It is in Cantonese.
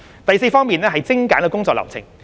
第四方面是精簡工作流程。